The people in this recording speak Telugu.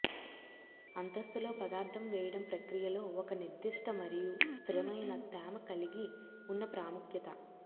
అంతస్తులో పదార్థం వేయడం ప్రక్రియలో ఒక నిర్దిష్ట మరియు స్థిరమైన తేమ కలిగి ఉన్న ప్రాముఖ్యత